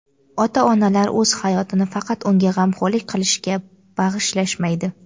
Ota-onalar o‘z hayotini faqat unga g‘amxo‘rlik qilishga bag‘ishlashmaydi.